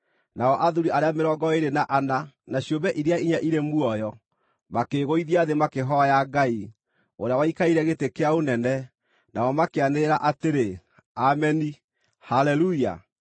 Nao athuuri arĩa mĩrongo ĩĩrĩ na ana, na ciũmbe iria inya irĩ muoyo, makĩĩgũithia thĩ makĩhooya Ngai, ũrĩa waikarĩire gĩtĩ kĩa ũnene. Nao makĩanĩrĩra atĩrĩ: “Ameni, Haleluya!”